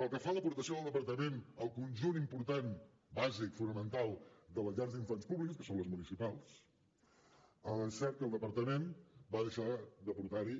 pel que fa a l’aportació del departament al conjunt important bàsic fonamental de les llars d’infants públiques que són les municipals és cert que el departament va deixar d’aportar hi